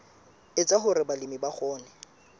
etsa hore balemi ba kgone